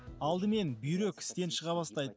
алдымен бүйрек істен шыға бастайды